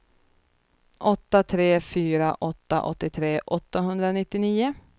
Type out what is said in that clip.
åtta tre fyra åtta åttiotre åttahundranittionio